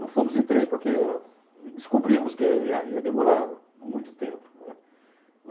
Não fomos de trem porque eh descobrimos que ia ia demorar muito tempo, né.